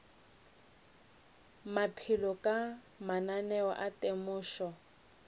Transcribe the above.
maphelo ka mananeo a temošo